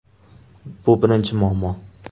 Bu birinchi muammo.